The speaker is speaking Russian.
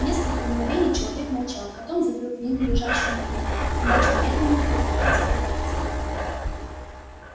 несколько мгновений человек молчал потом закрыл книгу лежащую на коленях и начал медленно перебирать её пальцами